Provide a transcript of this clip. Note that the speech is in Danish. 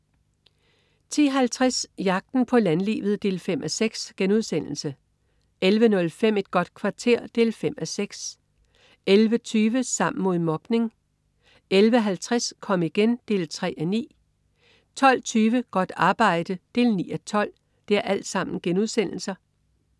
10.50 Jagten på landlivet 5:6* 11.05 Et godt kvarter 5:6* 11.20 Sammen mod mobning* 11.50 Kom igen 3:9* 12.20 Godt arbejde 9:12*